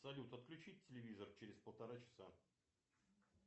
салют отключить телевизор через полтора часа